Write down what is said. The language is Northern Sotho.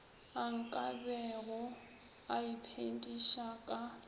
a nkabego a iphediša ka